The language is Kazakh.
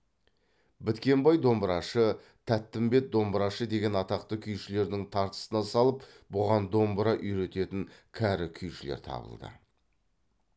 біткенбай домбырашы тәттімбет домбырашы деген атақты күйшілердің тартысына салып бұған домбыра үйрететін кәрі күйшілер табылды